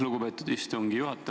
Lugupeetud istungi juhataja!